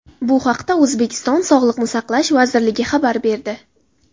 Bu haqda O‘zbekiston Sog‘liqni saqlash vazirligi xabar berdi .